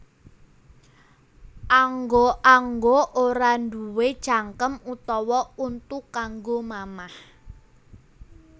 Angga angga ora duwé cangkem utawa untu kanggo mamah